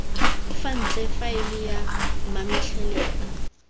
fa ntle faele ya mametlelelo